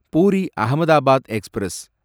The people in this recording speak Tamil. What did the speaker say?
பூரி அஹமதாபாத் எக்ஸ்பிரஸ்